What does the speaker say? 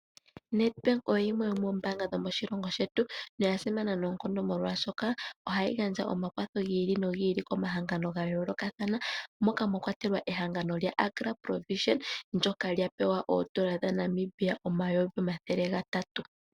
Nedbank oyo yimwe yomoombaanga dhomoshilongo shetu noya simana noonkondo molwaashoka ohayi gandja omakwatho gi ili nogi ili komahangano ga yoolokathana moka mwa kwatelwa ehangano lyaAgraProvision ndyoka lya pewa oondola dhoNamibia omayovi omathele gatatu.